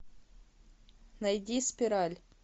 найди спираль